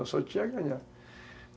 Eu só tinha a ganhar.